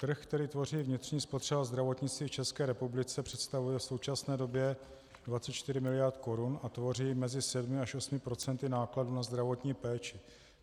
Trh, který tvoří vnitřní spotřeba zdravotnictví v České republice, představuje v současné době 24 mld. korun a tvoří mezi 7 až 8 % nákladů na zdravotní péči.